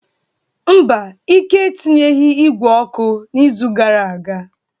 Mba, Ike etinyeghị igwe ọkụ n'izu gara aga.